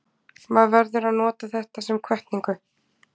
Maður verður að nota þetta sem hvatningu.